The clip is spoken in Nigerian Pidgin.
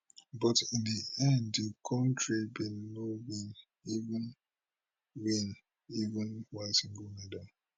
but in di end di kontri bin no win even win even one single medal